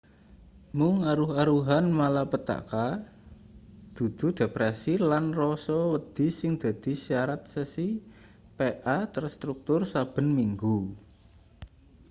mung aruh-aruhan malapetaka dudu depresi lan rasa wedi sing dadi syarat sesi pa terstruktur saben minggu